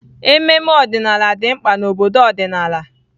Ememe ọdịnala dị mkpa na obodo ọdịnala